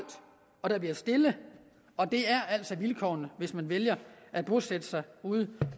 og der bliver stille og det er altså vilkårene hvis man vælger at bosætte sig ude